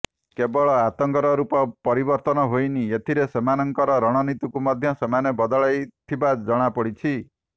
କେବଳ ଆତଙ୍କର ରୂପ ପରିବର୍ତ୍ତନ ହୋଇନି ଏଥିରେ ସେମାନଙ୍କର ରଣନୀତିକୁ ମଧ୍ୟ ସେମାନେ ବଦଳାଇଥିବା ଜଣାପଡିଛି